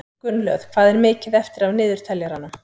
Gunnlöð, hvað er mikið eftir af niðurteljaranum?